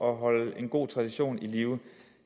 at holde en god tradition i live